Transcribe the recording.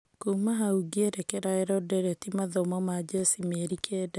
"Kuuma hau ngĩerekera Edoreti mathomo ma jeshi mĩeri kenda.